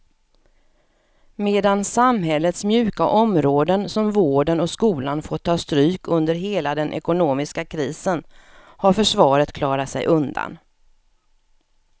Medan samhällets mjuka områden som vården och skolan fått ta stryk under hela den ekonomiska krisen har försvaret klarat sig undan.